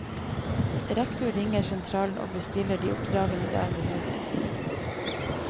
Rektor ringer sentralen og bestiller de oppdragene det er behov for.